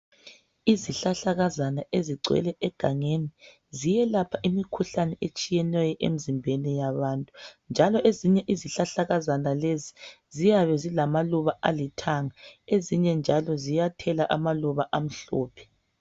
Izihlahlakazana ezigcwele egangeni ziyelapha imikhuhlane etshiyeneyo emzimbeni yabantu njalo ezinye izihlahlakazana lezi ziyabe zilamaluba alithanga ezinye njalo ziyathela amaluba amhlophe.